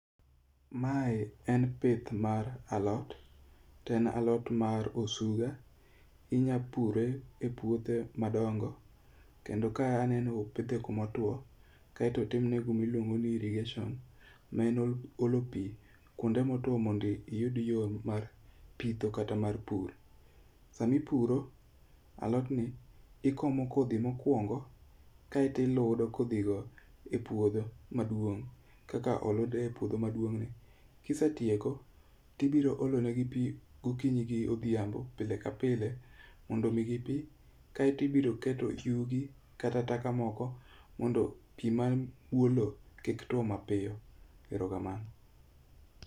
Mae en pith mar alot to en alot mar osuga. Inya pure e puothe madongo, kendo ka aneno opidhe kumotuwo kaeto otimne gimiluongo ni irrigation ma en olo pi kwonde motuwo mondo iyud yo mar pitho kata mar pur. Sama ipuro alotni, ikomo kodhi mokwongo, aeto iludo kodhigo e puodho maduong' kaka olud e puodho maduongni. Kisetieko, tibiro olo negi pi gokinyi gi odhiambo pile ka pile mondo omigi pi, kaeto ibiro keto yugi kata taka moko, mondo pi mani e bwo lowo kik tuwo mapiyo. Ero kamano.